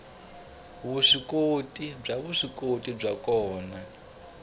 vuswikoti bya vuswikoti byo ka